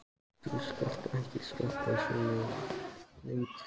Þú skalt ekki stoppa svona lengi næst.